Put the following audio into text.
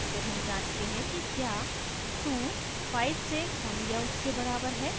फिर हम जाँचते हैं कि क्या 25 से कम या उसके बराबर है